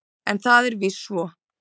En það er víst svo.